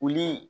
Olu